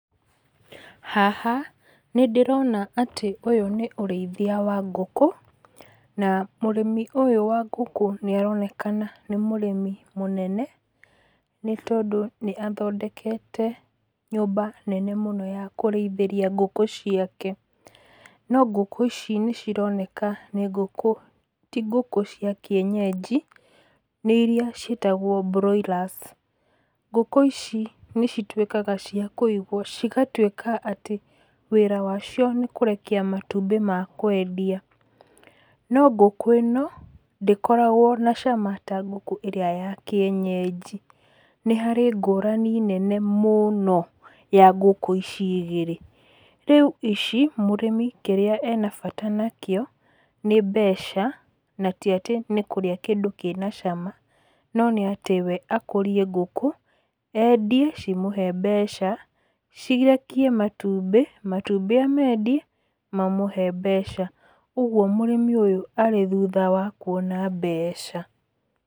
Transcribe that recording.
Haha nĩ ndĩrona atĩ ũyũ nĩ ũrĩithia wa ngũkũ na mũrĩmi ũyũ wa ngũkũ nĩ aronekana nĩ mũrĩmi mũnene, nĩ tondũ nĩ athondekete nyũmba nene mũno ya kũrĩithĩria ngũkũ ciake, no ngũkũ ici nĩ cironeka nĩ ngũkũ, ti ngũkũ cia kĩenyenji, nĩ irĩa ciĩtagwo broilers. Ngũkũ ici nĩ cituĩkaga cia kũigwo, cigatuĩka atĩ wĩra wacio nĩ kũrekia matumbĩ ma kwendia. No ngũkũ ĩno, ndĩkoragwo na cama ta ngũkũ ĩrĩa ya kĩenyenji. Nĩ harĩ ngũrani nene mũno ya ngũkũ ici igĩrĩ. Rĩu ici mũrĩmi kĩrĩa ena bata nakĩo nĩ mbeca na ti atĩ nĩ kũrĩa kĩndũ kĩna cama, no nĩ atĩ we nĩ akũrie ngũkũ, endie cimũhe mbeca, cirekie matumbĩ, matumbĩ amendie mamũhe mbeca. Ũguo mũrĩmi ũyũ arĩ thutha wa kuona mbeca.